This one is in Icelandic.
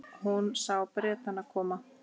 Hún sá Bretana koma.